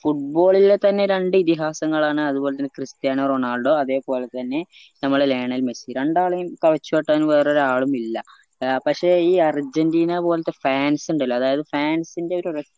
football ലെതന്നെ രണ്ട് ഇതിഹാസങ്ങളാണ് അത് പോലെ തന്നെ ക്രിസ്ത്യാനോ റൊണാൾഡോ അതെ പോലെ തന്നെ നമ്മളെ ലയണൽ മെസ്സി രണ്ടാളെയും കവച്ച് വെട്ടാൻ വേറെ ഒരാളും എല്ലാ പക്ഷെ ഈ അർജന്റീന പോൽത്തെ fans ഇണ്ടല്ലോ അതായത് fans ന്റെ ഒരു